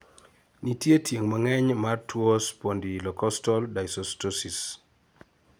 nitie tieng' mang'eny mar tuo spondylocostal dysostosis